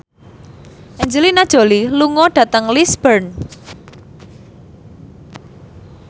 Angelina Jolie lunga dhateng Lisburn